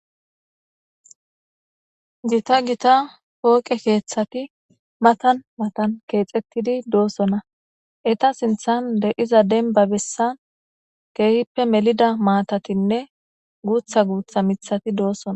jita gita pooqe keeththati matan matan keexettidi doossonna eta sinthan de7iza denba bessan geehippe melida maatatinne guutha guutha mithati doossona